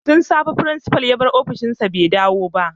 Tun safe principal ya bar ofishin shi bai dawo ba